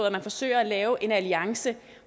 at man forsøger at lave en alliance